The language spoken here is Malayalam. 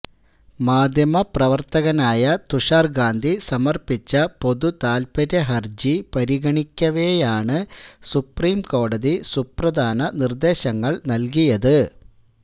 മാധ്യമപ്രവര്ത്തകനായ തുഷാര് ഗാന്ധി സമര്പ്പിച്ച പൊതുതാത്പര്യ ഹരജി പരിഗണിക്കവേയാണ് സുപ്രീം കോടതി സുപ്രധാന നിര്ദേശങ്ങള് നല്കിയത്